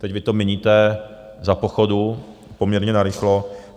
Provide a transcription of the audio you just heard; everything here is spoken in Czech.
Teď vy to měníte za pochodu poměrně narychlo.